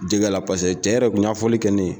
Jɛgɛ la cɛ yɛrɛ kun y'a fɔli kɛ ne ye.